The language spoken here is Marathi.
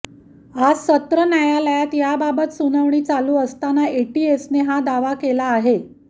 आज सत्र न्यायालयात याबाबत सुनावणी चालू असताना एटीएसने हा दावा केला आहे